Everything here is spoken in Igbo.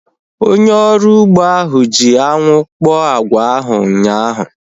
Onye ọrụ ugbo ahu ji anwụ kpọọ agwa ahu ụnyaahụ